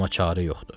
Amma çarə yoxdur.